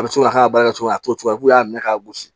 A bɛ to ka k'a baara kɛ cogoya ye a togoya k'u y'a minɛ k'a gosi